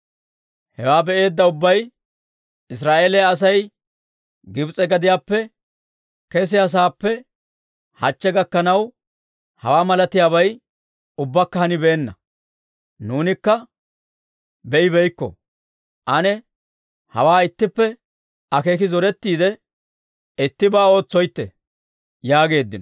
Hewaa be'eedda ubbay, «Israa'eeliyaa Asay Gibs'e gadiyaappe keseeddasaappe hachche gakkanaw, hawaa malatiyaabay ubbakka hanibeenna; nuunikka be'ibeykko. Ane hawaa ittippe akeeki zorettoytte, ittibaa ootsoytte» yaageeddino.